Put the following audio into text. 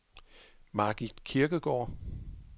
Margit Kirkegaard